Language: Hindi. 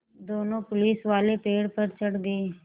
दोनों पुलिसवाले पेड़ पर चढ़ गए